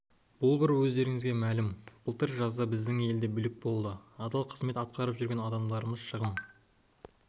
бұл бір өздеріңізге мәлім былтыр жазда біздің елде бүлік болды адал қызмет атқарып жүрген адамдарымыз шығын